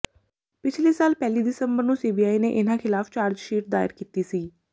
ਪਿਛਲੇ ਸਾਲ ਪਹਿਲੀ ਦਸੰਬਰ ਨੂੰ ਸੀਬੀਆਈ ਨੇ ਇਨ੍ਹਾਂ ਖ਼ਿਲਾਫ਼ ਚਾਰਜਸ਼ੀਟ ਦਾਇਰ ਕੀਤੀ ਗਈ ਸੀ